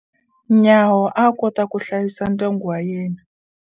Nyawo a kota ku hlayisa ndyangu wa yena.